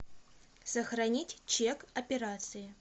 сохранить чек операции